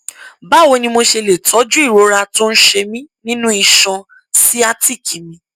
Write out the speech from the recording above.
báwo ni mo ṣe lè tọjú ìrora tó ń ṣe mí nínú iṣan sciatic mi